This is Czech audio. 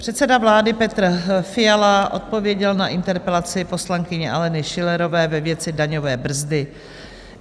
Předseda vlády Petr Fiala odpověděl na interpelaci poslankyně Aleny Schillerové ve věci daňové brzdy.